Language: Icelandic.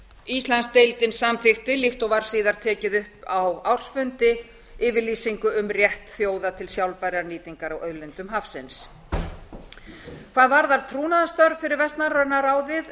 íslandsdeildin samþykkti líkt og var síðar tekið upp á ársfundi yfirlýsingu um rétt þjóða til sjálfbærrar nýtingar á auðlindum hafsins hvað varðar trúnaðarstörf fyrir vestnorræna ráðið